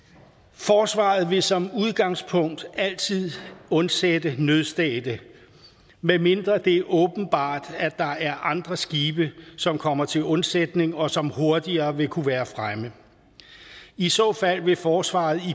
forsvaret vil som udgangspunkt altid undsætte nødstedte medmindre det er åbenbart at der er andre skibe som kommer til undsætning og som hurtigere vil kunne være fremme i så fald vil forsvaret